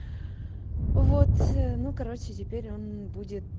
вот ну короче теперь он будет